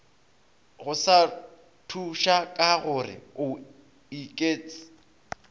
go sa thušakagore o iketš